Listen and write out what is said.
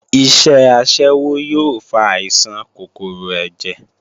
Iṣẹ́ aṣẹ́wó yóò fa àìsàn kòkòrò ẹ̀jẹ̀